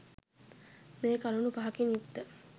මේ කරුණු පහකින් යුක්ත